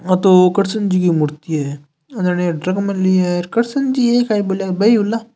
ओ तो कृष्ण जी की मूर्ति है अ जानिए रख मेली है कृष्ण जी है काई बोल्या बे ही हूला।